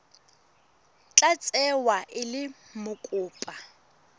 tla tsewa e le mokopa